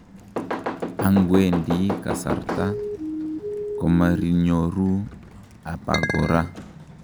angwendi kasarta, komerinyoru abakora